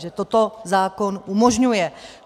Že toto zákon umožňuje.